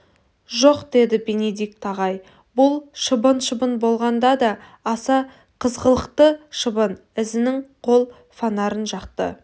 жоқ деді бенедикт ағай бұл шыбын шыбын болғанда да аса қызғылықты шыбын ізінің қол фонарын жақты